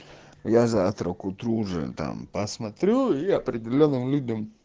я завтра к утру уже там посмотрю и определённым людям